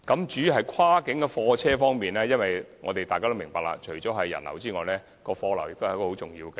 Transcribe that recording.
至於跨境貨車，大家也明白，除人流外，貨流也是大橋的重要效益。